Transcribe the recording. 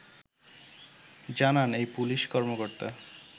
জানান এই পুলিশ কর্মকর্তা